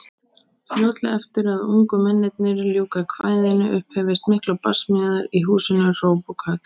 Fljótlega eftir að ungu mennirnir ljúka kvæðinu upphefjast miklar barsmíðar í húsinu, hróp og köll.